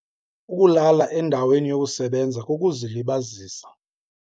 Ukulala endaweni yokusebenza kukuzilibazisa.